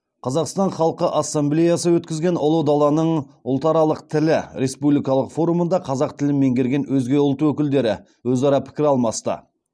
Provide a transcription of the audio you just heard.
қазақстан халқы ассамблеясы өткізген ұлы даланың ұлтаралық тілі республикалық форумында қазақ тілін меңгерген өзге ұлт өкілдері өзара пікір алмасты